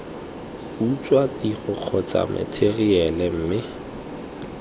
utswa tiro kgotsa matheriale mme